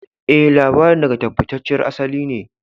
E, labarin daga tabbatacciyar asali ne.